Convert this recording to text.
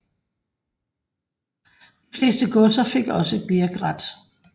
De fleste godser fik også birkret